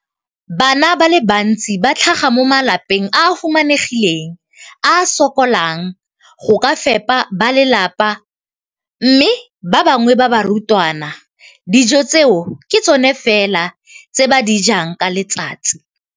Bana ba le bantsi ba tlhaga mo malapeng a a humanegileng a a sokolang go ka fepa ba lelapa mme ba bangwe ba barutwana, dijo tseo ke tsona fela tse ba di jang ka letsatsi.